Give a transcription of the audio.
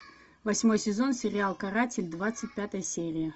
восьмой сезон сериал каратель двадцать пятая серия